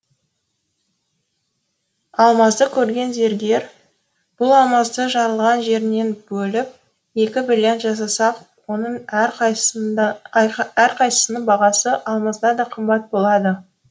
алмазды көрген зергер бұл алмазды жарылған жерінен бөліп екі бриллиант жасасақ оның әр қайсысының бағасы алмаздан да қымбат болады